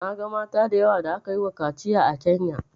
Na ga mata da yawa da aka yi wa kaciya a Kenya